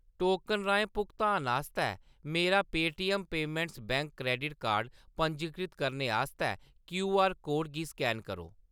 Token राहें भुगतान आस्तै मेरा Paytm payments bank credit card card पंजीकृत करने आस्तै क्यूआर कोड गी स्कैन करो।